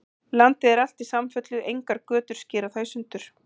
Landið er alt í samfellu, engar götur skera það í sundur.